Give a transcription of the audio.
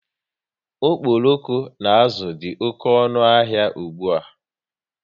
Okporoko na azụ dị oké ọnụ n'ahia ụgbụa